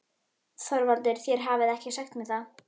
ÞORVALDUR: Þér hafið ekki sagt mér það.